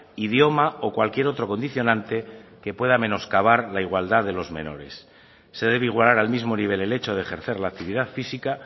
idioma o cualquier otro condicionante que pueda menoscabar la igualdad de los menores se debe igualar al mismo nivel el hecho de ejercer la actividad física